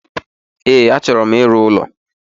E, achọro m ịrụ ụlọ